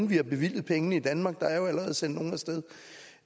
vi har bevilget pengene i danmark der er jo allerede sendt nogen af sted